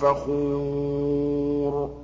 فَخُورٌ